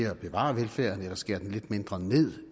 at bevare velfærden eller skære lidt mindre ned